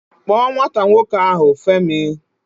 Kpọọ nwata nwoke ahụ, Femi!